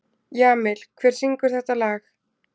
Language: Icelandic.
Jamil, hver syngur þetta lag?